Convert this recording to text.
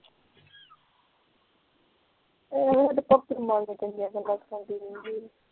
ਹੋਰ ਉਹ ਮੰਗਦੇ ਸੀ